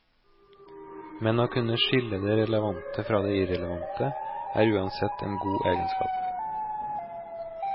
Men å kunne skille det relevante fra det irrelevante er uansett en god egenskap.